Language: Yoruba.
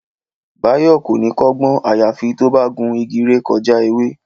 Báyọ̀ kò ní kọ́gbọ́n àyàfi tó bá gun igi ré kọjá ewé